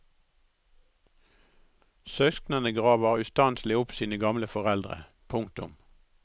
Søsknene graver ustanselig opp sine gamle foreldre. punktum